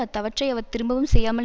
அத்தவற்றை அவர் திரும்பவும் செய்யாமல்